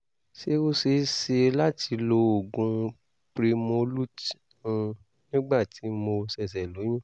ṣé ó ṣe é ṣe láti lo oògùn primolut n nígbà tí mo ṣẹ̀ṣẹ̀ lóyún?